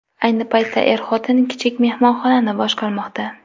Ayni paytda er-xotin kichik mehmonxonani boshqarmoqda.